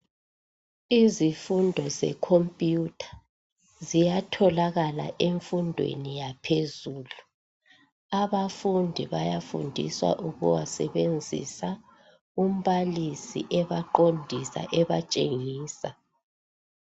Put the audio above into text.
Izifundo zekhompuyutha ziyatholakala emfundweni yaphezulu. Abafundi bayafundiswa ukuwasebenzisa umbalisi ebaqondisa ebatshengisa.